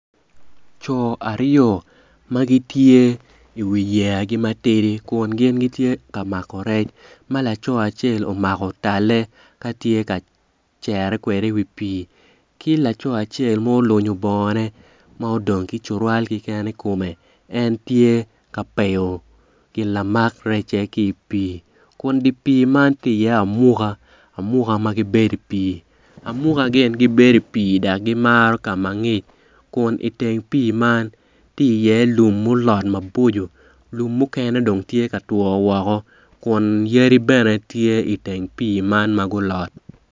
Co aryo ma gitye i wiyeyagi matidi kun gitye ka mako rec ma laco acel omako talle ka tye ka cere kwede i wi pii ki laco acel ma olunyo bongone ma dong ki cutowal keken i kome en tye ka peyo gin lamak recce ki i pii kun dye pii man tye iye amuka amuka ma gibedo i pii Amuka gibedo i pii dok gimaro ka ma ngic kun i teng pii man tye iye lum mulot maboco lum mukene dong gitye ka two woko kun yadi bene gitye i teng pii man ma gulot.